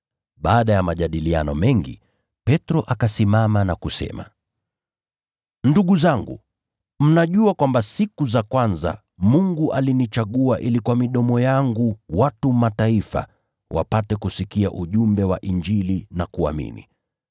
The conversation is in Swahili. Baada ya majadiliano mengi, Petro akasimama na kusema, “Ndugu zangu, mnajua kwamba siku za kwanza Mungu alinichagua ili kwa midomo yangu watu wa Mataifa wapate kusikia ujumbe wa Injili na kuamini.